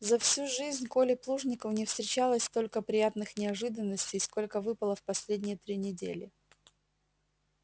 за всю жизнь коле плужникову не встречалось столько приятных неожиданностей сколько выпало в последние три недели